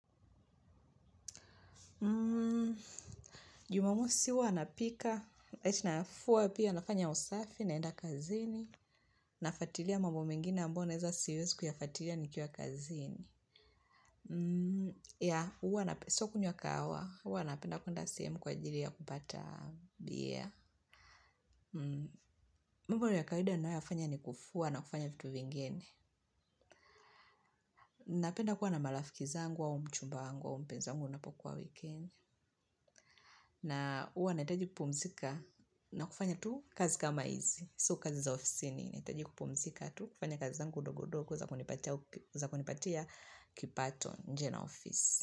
Jumamosi huwa napika Etina fua pia nafanya usafi. Naenda kazini. Nafuatilia mambo mengine ambayo naeza siwezi kuyafuatilia nikiwa kazini. Ya huwa na sio kunywa kahawa huwa napenda kuenda sehemu kwa ajili ya kupata Beer. Mambo ya kawaida nayafanya ni kufua na kufanya vitu vingine. Napenda kuwa na marafiki zangu au mchumba wangu mpenzi wangu anapokuwa weekend. Na huwa nahitaji kupumzika. Na kufanya tu kazi kama hizi. So kazi za ofisini nahitaji kupumzika tu. Kufanya kazi zangu ndogo ndogo kwa za kunipatia kipato nje na ofisi.